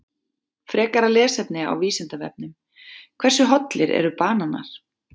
Frekara lesefni á Vísindavefnum: Hversu hollir eru bananar?